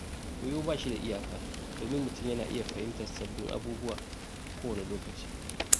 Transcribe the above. Koyo ba shi da iyaka, domin mutum na iya fahimtar sabbin abubuwa a kowane lokaci.